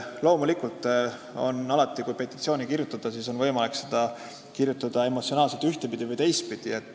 Loomulikult on alati võimalik petitsiooni kirjutada emotsionaalses mõttes ühte- või teistpidi.